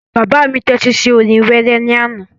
Bàbá mi tẹ́tí sí orin wéré ní àná